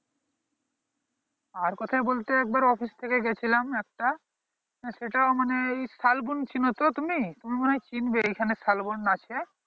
আর কোথায় বলতে এক বার office থেকে গেছিলাম একটা সেটাও মানে শালবন চিনো তো তুমি তুমি মনে হয়ে চিনবে এইখানে শালবন আছে